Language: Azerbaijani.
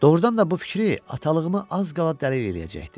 Doğrudan da bu fikri atalığımı az qala dəli eləyəcəkdi.